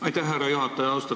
Aitäh, härra juhataja!